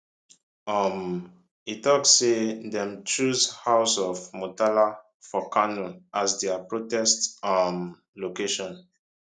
um e tok say dem choose house of murtala for kano as dia protest um location